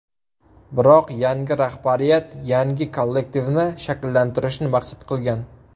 Biroq yangi rahbariyat yangi kollektivni shakllantirishni maqsad qilgan.